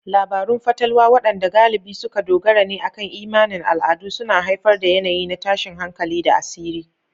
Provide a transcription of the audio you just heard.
Labarun fatalwa, waɗanda galibi suka dogara ne akan imanin al'adu, suna haifar da yanayi na tashin hankali da asiri.